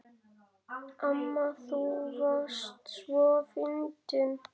Amma þú varst svo fyndin.